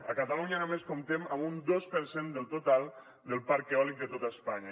a catalunya només comptem amb un dos per cent del total del parc eòlic de tot espanya